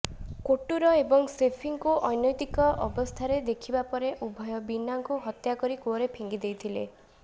କୋଟୁର ଏବଂ ସେଫିଙ୍କୁ ଅନୈତିକ ଅବସ୍ଥାରେ ଦେଖିବା ପରେ ଉଭୟ ବୀନାଙ୍କୁ ହତ୍ୟା କରି କୂଅରେ ଫିଙ୍ଗିଦେଇଥିଲେ